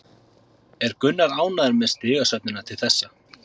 Er Gunnar ánægður með stigasöfnunina til þessa?